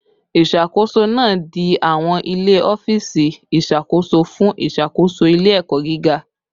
Isakoso naa di awọn ile ọfiisi iṣakoso fun iṣakoso ile-ẹkọ giga